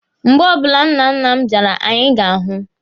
Mgbe ọbụla nnanna m bịara, anyị ga-ahụ.